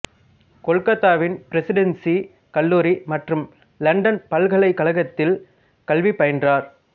கொல்கத்தாவின் Presidency கல்லூரி மற்றும் London பல்கலைக்கழகத்தில் கல்வி பயின்றார்